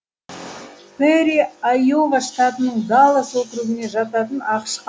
пэрри айова штатының даллас округіне жататын ақш